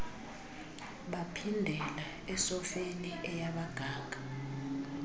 baphindela esofeni eyabaganga